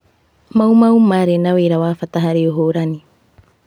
Mau Mau marĩ na wĩra wa bata harĩ ũhũrani.